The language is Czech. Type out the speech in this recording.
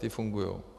Ty fungují.